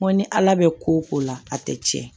N ko ni ala bɛ ko o ko la a tɛ tiɲɛ